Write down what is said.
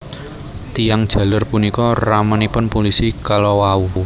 Tiyang jaler punika ramanipun pulisi kalawau